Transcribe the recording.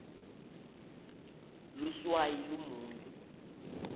luswayi lumunyu